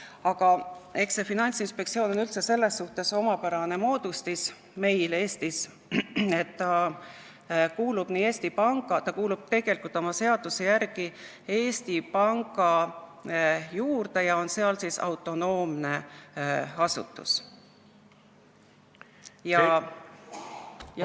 Aga eks see Finantsinspektsioon ole üldse selles suhtes omapärane moodustis meil Eestis, et ta kuulub tegelikult seaduse järgi Eesti Panga juurde ja on seal autonoomne asutus.